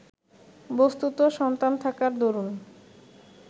বস্তুত সন্তান থাকার দরুন